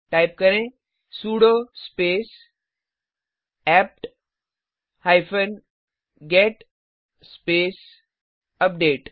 type करें sudo space APT hyphen get space update